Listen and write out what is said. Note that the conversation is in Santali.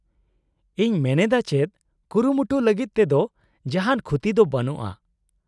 -ᱤᱧ ᱢᱮᱱᱮᱫᱟ ᱪᱮᱫ, ᱠᱩᱨᱩᱢᱩᱴᱩ ᱞᱟᱹᱜᱤᱫ ᱛᱮᱫᱚ ᱡᱟᱦᱟᱱ ᱠᱷᱩᱛᱤ ᱫᱚ ᱵᱟᱱᱩᱜᱼᱟ ᱾